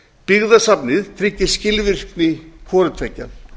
byggðasafnið tryggir skilvirkni hvoru tveggja